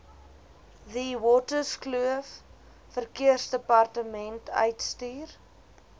theewaterskloof verkeersdepartement uitstuur